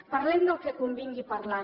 parlem del que convingui parlar